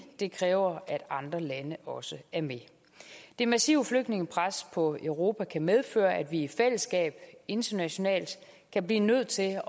det kræver at andre lande også er med det massive flygtningepres på europa kan medføre at vi i fællesskab internationalt kan blive nødt til